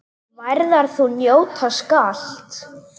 Værðar þú njóta skalt.